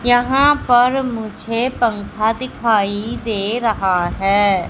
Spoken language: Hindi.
यहां पर मुझे पंखा दिखाई दे रहा है।